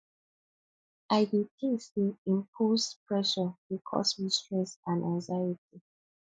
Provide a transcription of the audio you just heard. i dey think say selfimposed pressure dey cause me stress and anxiety